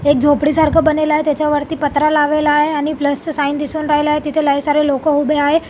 एक झोपडीसारख बणलेल आहे त्याच्यावरती पत्रा लावेलाय आणि प्लसच साइन दिसून राहिलय तिथ लई सारे लोक उभे आहे.